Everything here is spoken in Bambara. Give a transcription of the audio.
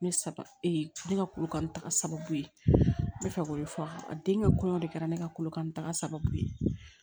Ne ee ne ka korokara sababu ye n bɛ fɛ k'o de fɔ a ye a den ka kɔɲɔ de kɛra ne ka korokanni sababu ye